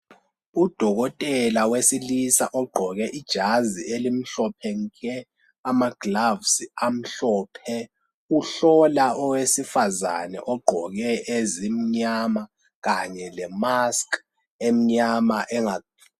Udokotela wesilisa ugqoke ijazi elimhlophe nke, amagilovisi amhlophe. Uhlola owesifazane ogqoke ezimnyama le"mask" emnyama enga.